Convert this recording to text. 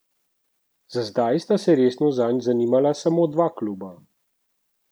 Za zdaj sta se resno zanj zanimala samo dva kluba.